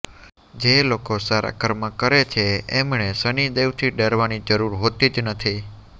જે લોકો સારા કર્મ કરે છે એમણે શનિદેવથી ડરવાની જરૂર હોતી જ નથી